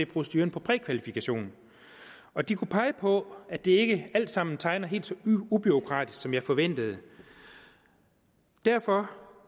proceduren for prækvalifikation og de kunne pege på at det ikke alt sammen tegner helt så ubureaukratisk som jeg forventede derfor